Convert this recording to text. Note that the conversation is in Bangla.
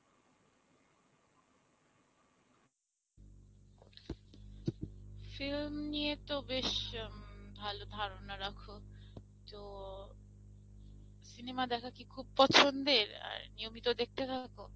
Film নিয়ে তো বেশ ভালো ধারণা রাখো তো cinema দেখা কি খুব পছন্দের, নিয়মিত দেখতে থাকো?